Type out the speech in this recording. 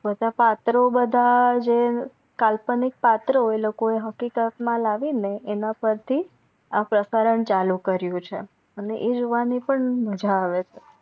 બધા પત્રો બધા જે કાલ્પનિક પત્રો એ લોકો એ હકીકત મા લાવી ને એના પર થી પ્રસારણ ચાલુ કર્યું છે અને એ જોવાની પણ મજા આવે છે